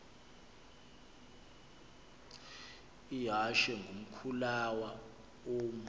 ihashe ngumkhulawa uam